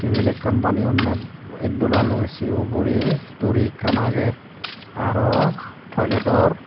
tebil ekkan baneyonney itdolaloi sei ugurey duri ekkan agey aro toiledor.